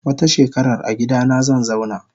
Wata shekarar agidana zanzauna.